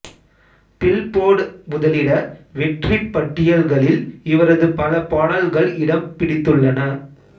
Billboard முதலிட வெற்றிப் பட்டியல்களில் இவரது பல பாடல்கள் இடம்பிடித்துள்ளன